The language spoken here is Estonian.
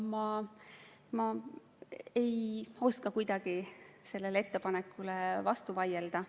Ma ei oska kuidagi sellele ettepanekule vastu vaielda.